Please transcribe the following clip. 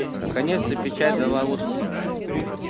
наконец-то печать дала отклик